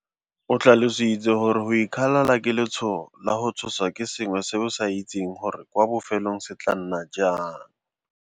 O tlhalositse gore go ikgalala ke letshogo la go tshoswa ke sengwe se o sa itseng gore kwa bofelong se tla nna jang.